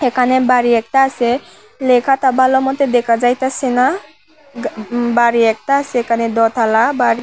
এখানে বাড়ি একতা আসে লেখাতা ভালো মতো দেখাযাইতাসে না গ বাড়ি একতা আসে এখানে দতলা বাড়ি--